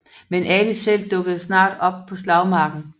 Men Ali selv dukkede snart op på slagmarken